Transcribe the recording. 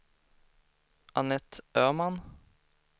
Annette Öman